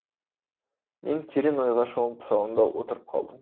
мен терең ойға шомып салонда отырып қалдым